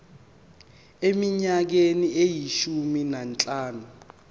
eminyakeni eyishumi nanhlanu